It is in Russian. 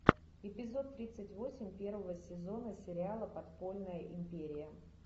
эпизод тридцать восемь первого сезона сериала подпольная империя